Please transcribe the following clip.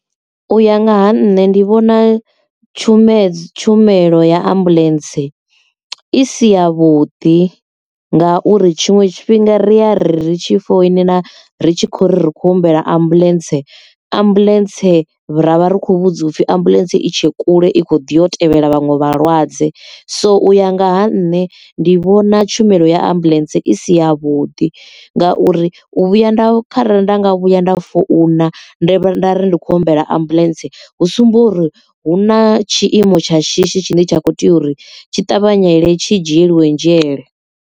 U ya nga ha nṋe ndi vhona tshumelo tshumelo ya ambuḽentse i si yavhuḓi nga uri tshiṅwe tshifhinga ri ya ri tshi foinela ri tshi khou ri khou humbela ambuḽentse ambuḽentse ravha ri khou vhudziwa upfi ambuḽentse i tshe kule i kho ḓi yo tevhela vhaṅwe vhalwadze so uya ngaha nṋe ndi vhona tshumelo ya ambuḽentse i si yavhuḓi ngauri u vhuya nda kharali nda nga vhuya nda founa nda ri ndi kho humbela ambuḽentse hu sumba uri hu na tshiimo tsha shishi tshine tsha kho tea uri tshi ṱavhanyedzele tshi dzhielwe nzhele.